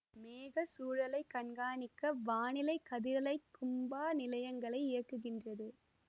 மேகச் சூழலை கண்காணிக்க வானிலை கதிரலைக் கும்பா நிலையங்களை இயக்குகின்றது